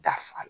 Da fa